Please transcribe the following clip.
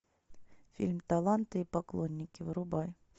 фильм таланты и поклонники врубай